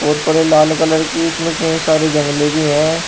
और पूरे लाल कलर की इसमें कई सारे जंगलें भी हैं।